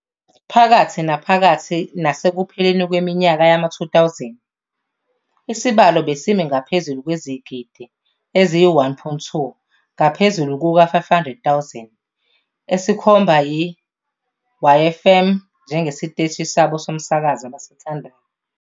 Phakathi naphakathi nasekupheleni kweminyaka yama-2000 isibalo besimi ngaphezu kwezigidi eziyi-1.2 ngaphezulu kuka-500,000 esikhomba i-YFM njengesiteshi sabo somsakazo abasithandayo.